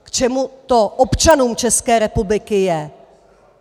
K čemu to občanům České republiky je?